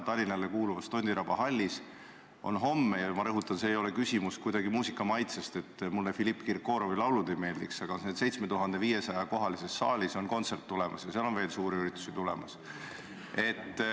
Tallinnale kuuluvas Tondiraba jäähallis, kus on 7500 kohta – ja ma rõhutan, et küsimus ei ole kuidagi minu muusikamaitses, selles, kas mulle Filipp Kirkorovi laulud meeldivad või ei meeldi –, on homme tema kontsert tulemas ja seal on veel suurüritusi tulemas.